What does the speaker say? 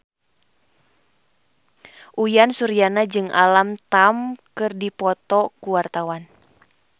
Uyan Suryana jeung Alam Tam keur dipoto ku wartawan